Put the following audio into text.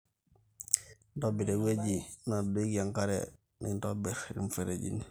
ntobira ewueji nadoiki enkare nintorbir ilmifereji